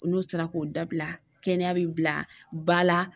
N'u sera k'o dabila kɛnɛya bɛ bila ba la